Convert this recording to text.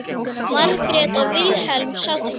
Margrét og Vilhelm sátu kyrr.